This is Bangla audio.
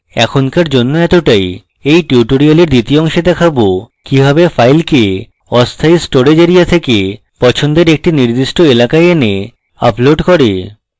এখনকার জন্য এতটাই এই tutorial দ্বিতীয় অংশে দেখাবো কিভাবে file অস্থায়ী storage এরিয়া থেকে পছন্দের একটি নির্দিষ্ট এলাকায় in upload করে